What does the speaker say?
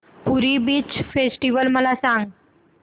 पुरी beach festival मला सांग